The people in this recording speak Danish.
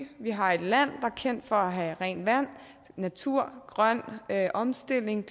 at vi har et land er kendt for at have rent vand natur grøn omstilling